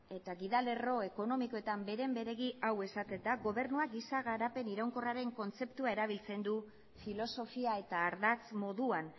eta gidalerro ekonomikoetan beren beregi hau esaten da gobernuak giza garapen iraunkorraren kontzeptua erabiltzen du filosofia eta ardatz moduan